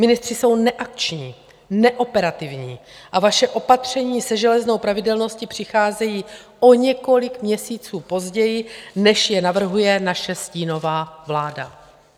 Ministři jsou neakční, neoperativní a vaše opatření se železnou pravidelností přicházejí o několik měsíců později, než je navrhuje naše stínová vláda.